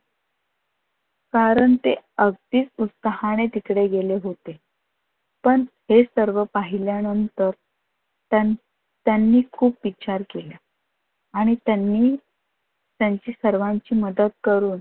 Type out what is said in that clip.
कारण ते अगदी उत्साहाणे तिकडे गेले होते. पण हे सर्व पहिल्यानंतर त्या त्यांनी खूप विचार केला आणि त्यांनी त्यांची सर्वांची मदत करून